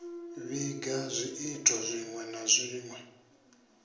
vhiga zwiito zwinwe na zwinwe